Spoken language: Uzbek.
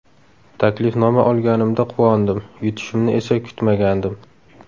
Taklifnoma olganimda quvondim, yutishimni esa kutmagandim.